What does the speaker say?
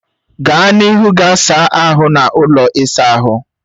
Gaa n'ihu gaa saa ahụ n'ụlọ ịsa ahụ